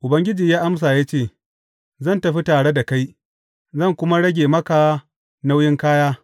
Ubangiji ya amsa ya ce, Zan tafi tare da kai, zan kuma rage maka nauyin kaya.